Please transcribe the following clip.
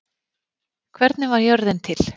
Hvernig varð jörðin til?